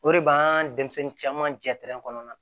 O de b'an denmisɛnnin caman jɛ kɔnɔna na